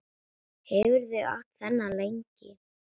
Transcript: Hefurðu átt þennan lengi?